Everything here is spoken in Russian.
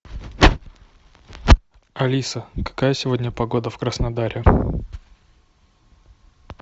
алиса какая сегодня погода в краснодаре